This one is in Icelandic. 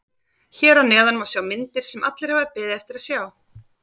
Hér að neðan má sjá myndir sem allir hafa beðið eftir að sjá.